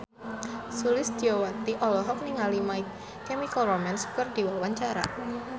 Sulistyowati olohok ningali My Chemical Romance keur diwawancara